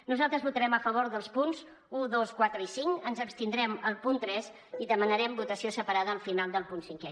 nosaltres votarem a favor dels punts un dos quatre i cinc ens abstindrem al punt tres i demanarem votació separada al final del punt cinquè